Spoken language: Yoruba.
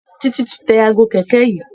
Titi ti tẹ Aago kẹ̀kẹ́ yí.